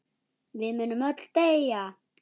Við munum öll deyja.